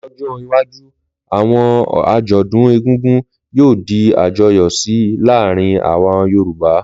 Lọ́jọ́ iwájú, àwọn àjọ̀dún egúngún yóò di àjọyọ̀ síi láàrin àwọn Yorùbá